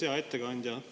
Hea ettekandja!